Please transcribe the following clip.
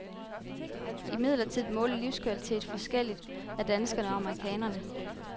Imidlertid måles livskvalitet forskelligt af danskere og amerikanere.